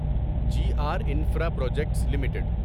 G R infra projects limited